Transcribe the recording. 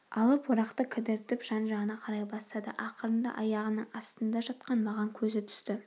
алып орақты кідіртіп жан-жағына қарай бастады ақырында аяғының астында жатқан маған көзі түсті